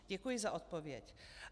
Děkuji za odpověď.